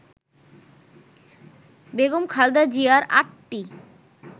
বেগম খালেদা জিয়ার ৮টি